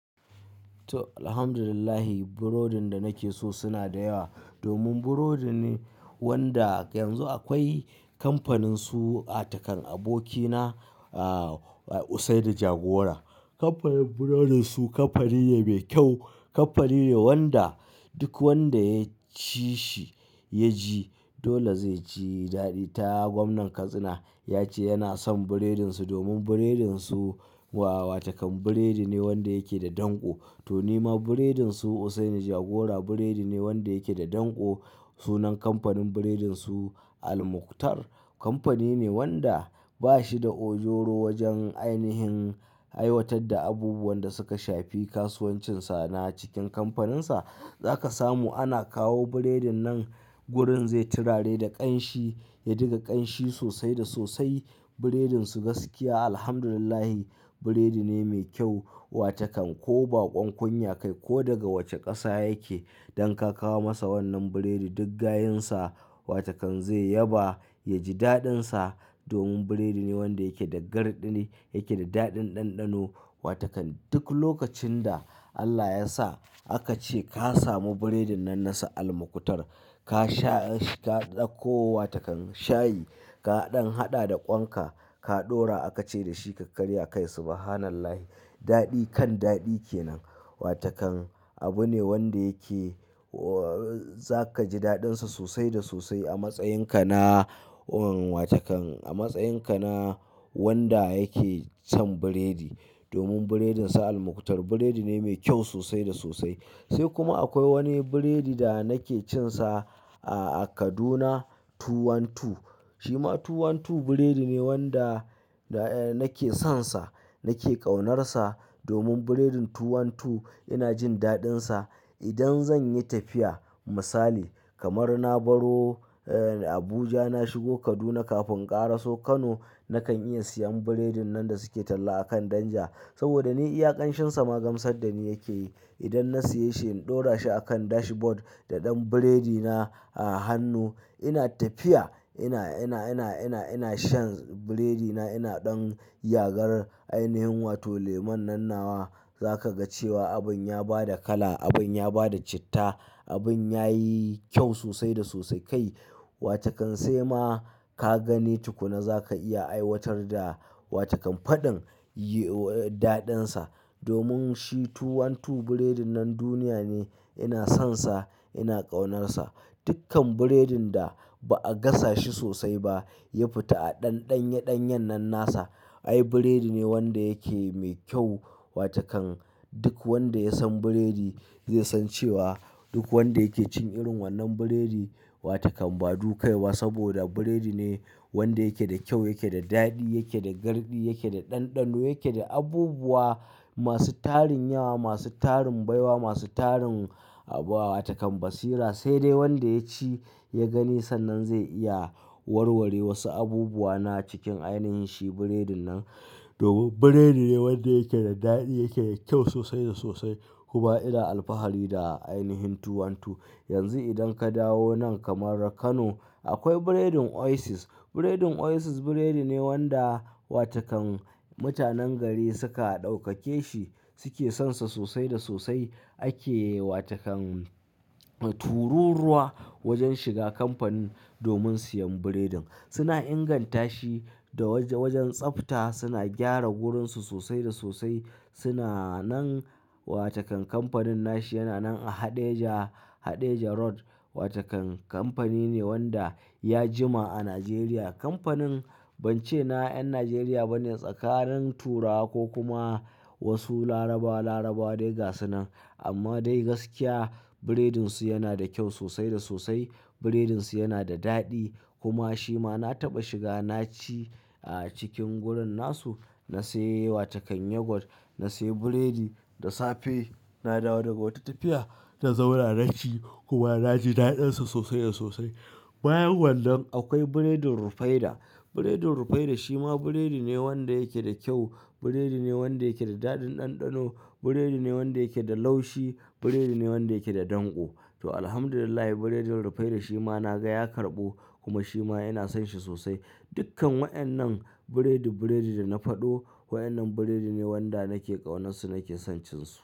To, Alhamdulillah burodin da nake so suna da yawa domin burodi ne wanda yanzu akwai kamfaninsu. Wata kan abokina, a, Hussaini Jagora. Kamfanin burodinsu kamfani ne mai kyau, kamfani ne wanda duk wanda ya ci shi ya ji dole zai ci daɗi. Ta gwamnan Katsina ya ce yana son burodinsu domin burodinsu wata kan burodi ne wanda yake da danƙo. To, nima burodinsu Hussaini Jagora burodi ne wanda yake da danƙo. Sunan kamfanin burodinsu Al Mukhtar. Kamfani ne wanda ba shi da ojoro wajen ainihin aiwatar da abubuwan da suka shafi kasuwancinsa. Na cikin kamfaninsa za ka samu ana kawo burodin nan wurin zai tirare da ƙanshi, ya diga ƙanshi sosai da sosai. Burodinsu gaskiya, Alhamdulillah, burodi ne mai kyau wata kan ko baƙon kunya ka yi ko daga wace ƙasa yake, idan ka kawo masa wannan burodi duk gayinsa wataƙan zai yaba, ya ji daɗinsa. Domin burodi ne wanda yake da garɗi ne, yake da daɗin ɗanɗano wata kan duk lokacin da Allah ya sa aka ce ka samu burodin nan nasa Al Mukhtar ka sha shi, ka ɗauko wata kan shayi, ka ɗan haɗa da ƙwan ka, ka ɗora aka ce da shi ka karya kai subhanallahi. Daɗi kan daɗi ke nan wata kan abu ne wanda yake, o, za ka ji daɗinsa sosai da sosai a matsayinka na, wa, wata kan a matsayinka na wanda yake san burodi. Domin burodin Al Mukhtar burodi ne mai kyau sosai da sosai. Sai kuma akwai wani burodi da nake cinsa a Kaduna Two One Two. Shi ma Two One Two burodi ne wanda, da, nake sonsa, nake ƙaunarsa. Domin burodin Two One Two yana jin daɗinsa. Idan zan yi tafiya misali kamar na baro, e, Abuja na shigo Kaduna kafin in ƙara so Kano nakan iya siyan burodin nan da suke talla a kan danja. Saboda ni iya ƙanshin sama gamsar da ni yake yi. Idan na siya shi in ɗora shi a kan dashboard da ɗan burodi na a hannu ina tafiya ina, ina, ina, ina, ina shan burodi na ina ɗan yagar ainihin wato lemon nan nawa za ka ga cewa abin ya ba da kala, abin ya ba da citta, abin ya yi kyau sosai da sosai kai. Wata ƙan sai ma ka gani tukuna za ka iya aiwatar da wata ƙan faɗin, yi, daɗinsa. Domin shi Two One Two burodin nan duniya ne. Ina sonsa, ina ƙaunarsa. Dukkan burodin da ba'a gasa shi sosai ba ya fita a ɗanye-ɗanye nan nasa. Ai burodi ne wanda yake mai kyau wataƙan duk wanda ya san burodi zai san cewa duk wanda yake cin irin wannan burodi wata ƙan ba dukai ba saboda burodi ne wanda yake da kyau, yake da daɗi, yake da garɗi, yake da ɗanɗano, yake da abubuwa masu tarin yawa, masu tarin baiwa, masu tarin wata ƙan basira. Sai dai wanda ya ci ya gani sannan zai iya warware wasu abubuwa na cikin ainihin shi burodin nan. Domin burodi ne wanda yake da daɗi, yake da kyau sosai da sosai. Kuma ina alfahari da ainihin Two One Two. Yanzu idan ka dawo nan kamar Kano akwai burodin Oasis. Burodin Oasis burodi ne wanda wata ƙan mutanen gari suka ɗaukake shi, suke sonsa sosai da sosai. Ake wataƙan tururuwa wajen shiga kamfani domin siyan burodin. Suna inganta shi da wajen tsafta suna gyara gurunsu sosai da sosai. Suna nan watavƙan kamfanin nashi yana nan a Haɗeja, Haɗeja Road wata ƙan kamfani ne wanda ya jima a Najeriya. Kamfanin ban ce na 'yan Najeriya ba ne tsakanin Turawa ko kuma wasu Larabawa, Larabawa dai gasunan amma dai gaskiya burodinsu yana da kyau sosai da sosai. Burodinsu yana da daɗi kuma shi ma na taɓa shiga na ci a cikin gurun nasu. Na sayi wata ƙan yogurt, na sayi burodi da safe. Na dawo daga wata tafiya na zauna naci kuma na ji daɗinsa sosai da sosai. Bayan wannan akwai burodin Rufaidah. Burodin Rufaidah shi ma burodi ne wanda yake da kyau, burodi ne wanda yake da daɗin ɗanɗano, burodi ne wanda yake da laushi, burodi ne wanda yake da danƙo. To, Alhamdulillah burodin Rufaidah shi ma na ga ya karɓu kuma shi ma ina son shi sosai. Dukkan waƴannan burodi-burodi da na faɗo waƴannan burodi ne wanda nake ƙaunarsu nake son cin su.